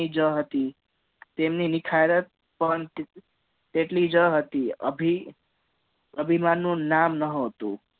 જ હતી તેની તેની નિખારત પંત તેટલી જ હતી અભી અભિમાન નું નામે ના હતું